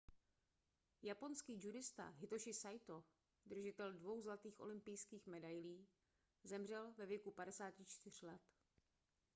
japonský judista hitoši saito držitel dvou zlatých olympijských medailí zemřel ve věku 54 let